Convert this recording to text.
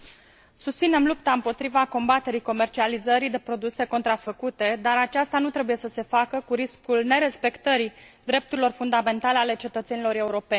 Susținem lupta împotriva combaterii comercializării de produse contrafăcute, dar aceasta nu trebuie să se facă cu riscul nerespectării drepturilor fundamentale ale cetățenilor europeni.